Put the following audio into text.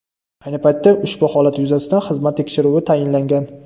Ayni paytda ushbu holat yuzasidan xizmat tekshiruvi tayinlangan.